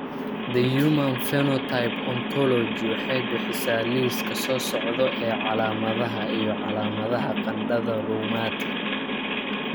The Human Phenotype Ontology waxay bixisaa liiska soo socda ee calaamadaha iyo calaamadaha qandhada Rheumatic.